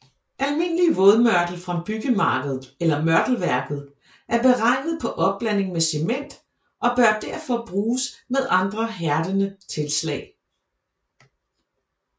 Almindelig vådmørtel fra byggemarkedet eller mørtelværket er beregnet på opblanding med cement og bør derfor bruges med andre hærdende tilslag